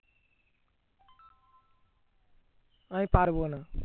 আমি পারবো না